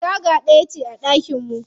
Taga ɗaya ce a ɗakin mu.